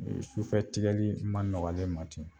Sufɛ tigɛli ma nɔgɔn ne ma ten